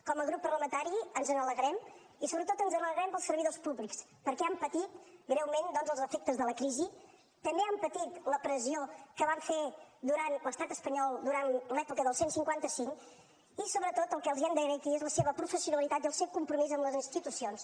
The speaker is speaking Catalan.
com a grup parlamentari ens n’alegrem i sobretot ens n’alegrem pels servidors públics perquè han patit greument doncs els efectes de la crisi també han patit la pressió que va fer l’estat espanyol durant l’època del cent i cinquanta cinc i sobretot el que els hem d’agrair aquí és la seva professionalitat i el seu compromís amb les institucions